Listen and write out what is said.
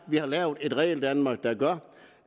vi har lavet et regeldanmark der gør